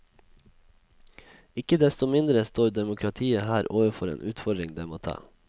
Ikke desto mindre står demokratiet her overfor en utfordring det må ta.